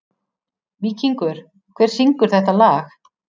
Víkingur, hver syngur þetta lag?